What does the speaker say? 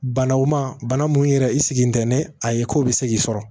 Banaw ma bana mun yɛrɛ i sigilen tɛ ni a ye ko bɛ se k'i sɔrɔ